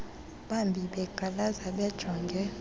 bambi beqalaza bejonge